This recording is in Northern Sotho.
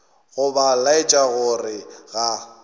go ba laetša gore ga